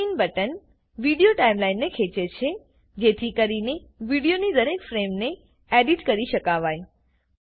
zoom in button video ટાઈમલાઈનને ખેંચે છે જેથી કરીને વિડીયોની દરેક ફ્રેમને એડીટ કરી શકાવાય